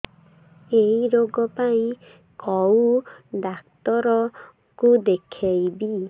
ଏଇ ରୋଗ ପାଇଁ କଉ ଡ଼ାକ୍ତର ଙ୍କୁ ଦେଖେଇବି